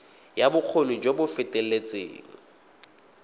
ya bokgoni jo bo feteletseng